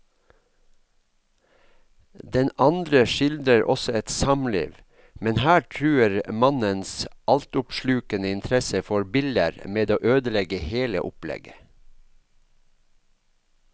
Den andre skildrer også et samliv, men her truer mannens altoppslukende interesse for biller med å ødelegge hele opplegget.